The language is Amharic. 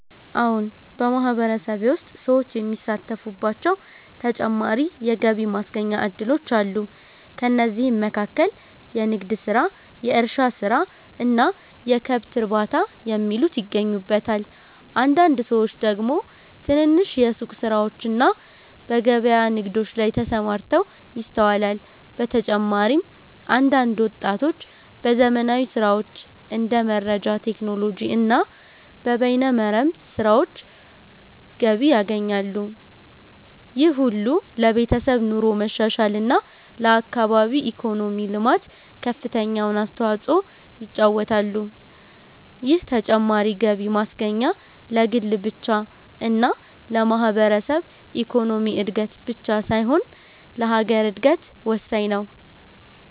አዎን !በማህበረሰቤ ውስጥ ሰዎች የሚሳተፉባቸው ተጨማሪ የገቢ ማስገኛ እድሎች አሉ። ከእነዚህም መካከል የንግድ ስራ፣ የእርሻ ስራ እና የከብት እርባታ የሚሉት ይገኙበታል። አንዳንድ ሰዎች ደግሞ ትንንሽ የሱቅ ስራዎችና በገበያ ንግዶች ላይ ተሰማርተው ይስተዋላል። በተጨማሪም አንዳንድ ወጣቶች በዘመናዊ ስራዎች እንደ መረጃ ቴክኖሎጂ እና በበይነ መረብ ስራዎች ገቢ ያገኛሉ። ይህ ሁሉ ለቤተሰብ ኑሮ መሻሻል እና ለአካባቢ ኢኮኖሚ ልማት ከፍተኛውን አስተዋጽኦ ይጫወታሉ። ይህ ተጨማሪ ገቢ ማስገኛ ለግል ብቻ እና ለማህበረሰብ ኢኮኖሚ እድገት ብቻ ሳይሆን ለሀገር እድገት ወሳኝ ነው።